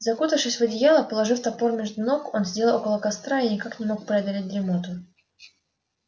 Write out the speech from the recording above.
закутавшись в одеяло положив топор между ног он сидел около костра и никак не мог преодолеть дремоту